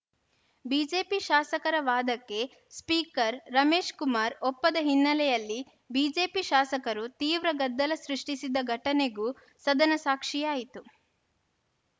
BJP ಶಾಸಕರ ವಾದಕ್ಕೆ speaker Ramesh Kumar ಒಪ್ಪದ ಹಿನ್ನೆಲೆಯಲ್ಲಿ ಬಿಜೆಪಿ ಶಾಸಕರು ತೀವ್ರ ಗದ್ದಲ ಸೃಷ್ಟಿಸಿದ ಘಟನೆಗೂ ಸದನ ಸಾಕ್ಷಿಯಾಯಿತು